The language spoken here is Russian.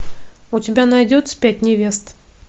у тебя найдется пять невест